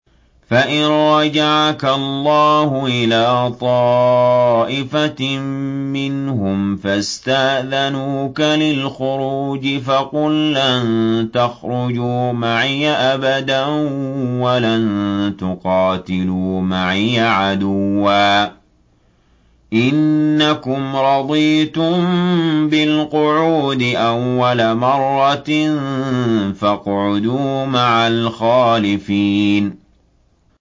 فَإِن رَّجَعَكَ اللَّهُ إِلَىٰ طَائِفَةٍ مِّنْهُمْ فَاسْتَأْذَنُوكَ لِلْخُرُوجِ فَقُل لَّن تَخْرُجُوا مَعِيَ أَبَدًا وَلَن تُقَاتِلُوا مَعِيَ عَدُوًّا ۖ إِنَّكُمْ رَضِيتُم بِالْقُعُودِ أَوَّلَ مَرَّةٍ فَاقْعُدُوا مَعَ الْخَالِفِينَ